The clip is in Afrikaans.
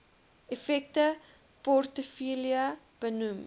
effekte portefeulje benoem